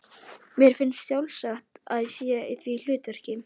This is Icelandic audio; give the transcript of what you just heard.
Mér finnst sjálfsagt að ég sé í því hlutverki.